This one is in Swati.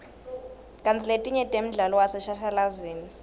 kantsi letinye temdlalo waseshashalazini